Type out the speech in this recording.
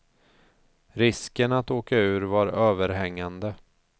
Risken att åka ur var överhängande.